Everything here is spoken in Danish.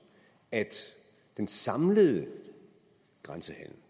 at den samlede grænsehandel